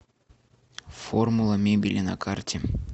формула мебели на карте